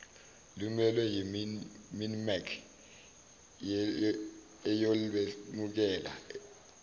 lumelwe yiminmec eyolwemukela